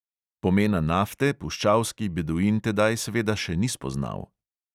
Pomena nafte puščavski beduin tedaj seveda še ni spoznal.